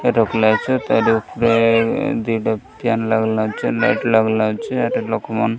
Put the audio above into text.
ତାର୍ ଉପରେ ଦିଟା ଫ୍ୟାନ୍ ଲାଗଲା ଲାଇଟ୍ ଲାଗଲା ହେଠି ଲୋକମାନେ --